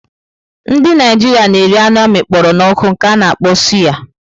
Ndị Naijiria na-eri anụ amịkpọro n'oku nke a na-akpọ suyà.